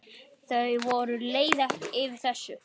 Þau voru leið yfir þessu.